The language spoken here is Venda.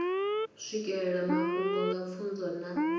swikelela mafhungo nga pfunzo na